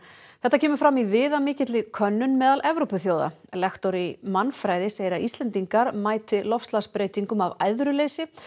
þetta kemur fram í viðamikilli könnun meðal Evrópuþjóða lektor í mannfræði segir að Íslendingar mæti loftslagsbreytingum af æðruleysi